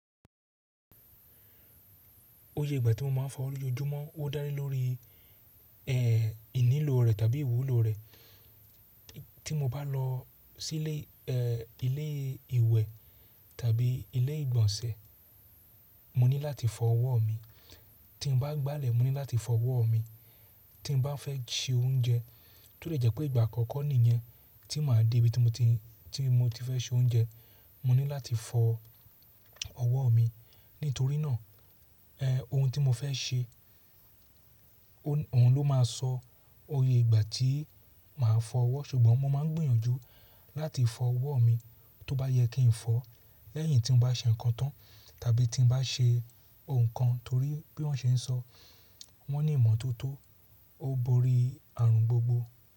Oye ìgbà tí mo máa ń fọwọ́ lójoojúmọ́ ó dá lé lórí, ìnílò rẹ̀ tàbí ìwúlò rẹ̀. Tí mo bá lọ sílé, ẹ́, ilé ìwẹ̀ tàbí ilé ìgbọ̀nsẹ̀, mo ní láti fọ ọwọ́ mi. Tí m bá gbálẹ̀ mo ní láti fọ ọwọ́ mi. Tí m bá fẹ́ ṣe oúnjẹ, tó dè jẹ́ pé ìgbà àkọ́kọ́ nìyẹn tí màá dé ibi tí mo ti, tí mo ti fẹ́ se oúnjẹ, mo ní láti fọ ọwọ́ mi. Nítorí náà, ohun tí mo fẹ́ ṣe, òun ló máa sọ oye ìgbà tí màá fọ ọwọ́. Ṣùgbọ́n mo máa ń gbìyànjú láti fọ ọwọ́ mi tó bá yẹ kí n fọ̀ lẹ́yìn tí n bá ṣe ǹkan tán tàbí tí n bá ṣe ǹkan torí bí wọ́n ṣe ń sọ, wọ́n ní ìmọ́tótó, ó borí ààrùn gbogbo.